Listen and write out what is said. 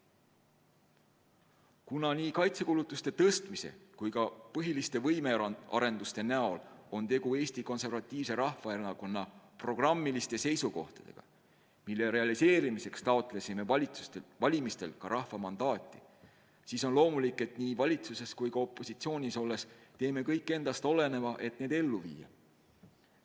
Kuna nii kaitsekulutuste tõstmise kui ka põhiliste võimearenduste näol on tegu Eesti Konservatiivse Rahvaerakonna programmiliste seisukohtadega, mille realiseerimiseks taotlesime valimistel ka rahva mandaati, siis on loomulik, et nii valitsuses kui ka opositsioonis olles teeme kõik endast oleneva, et need ellu viia.